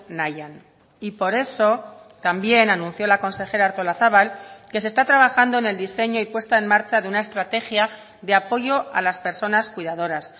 nahian y por eso también anunció la consejera artolazabal que se está trabajando en el diseño y puesta en marcha de una estrategia de apoyo a las personas cuidadoras